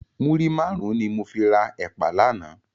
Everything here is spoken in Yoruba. Múrí márùn ni mó fi rá èpá làná